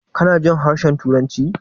Kanajin harshen turanci?